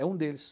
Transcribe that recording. É um deles.